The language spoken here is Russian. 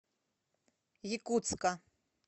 якутска